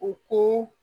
U ko